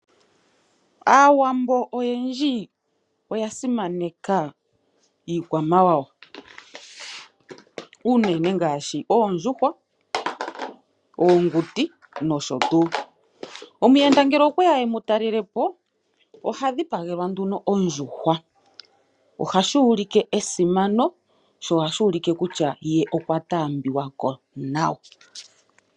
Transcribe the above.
Aawambo oyendji oya simaneka iikwamawawa unene ngaashi Oondjuhwa, Oonguti nosho tuu. Omuyenda ngele okweya emu talelepo oha dhipagelwa nduno ondjuhwa. Ohashi ulike esimano sho ohashi ulike kutya ye okwa taambiwako nawa.